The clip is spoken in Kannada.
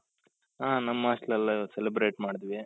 ಹ ನಮ್ಮ hostel ಅಲ್ಲಿ ಇವತ್ತು celebrate ಮಾಡಿದ್ವಿ